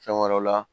Fɛn wɛrɛw la